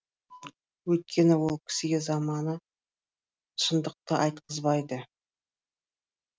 өйткені ол кісіге заманы шындыққа айтқызбады